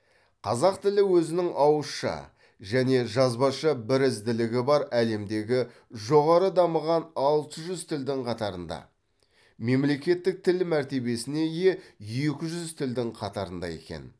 қазақ тілі өзінің ауызша және жазбаша бірізділігі бар әлемдегі жоғары дамыған алты жүз тілдің қатарында мемлекеттік тіл мәртебесіне ие екі жүз тілдің қатарында екен